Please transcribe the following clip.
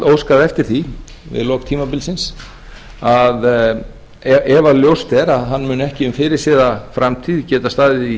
óskað eftir því við lok tímabilsins að ef ljóst er að hann muni ekki um fyrirséða framtíð geta staðið í